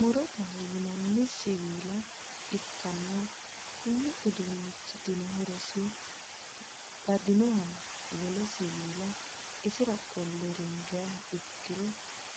morodaho yinanni siwiila ikkanna, konni uduunichitino horosi badinoha wole siwiisa isira qolle ringiha ikkiro